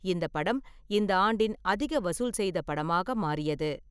இந்த படம் இந்த ஆண்டின் அதிக வசூல் செய்த படமாக மாறியது.